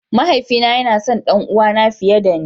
Mahaifi na yana son ɗanuwa na fiye da ni.